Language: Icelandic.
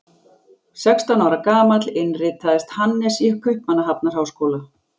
Sextán ára gamall innritaðist Hannes í Kaupmannahafnarháskóla.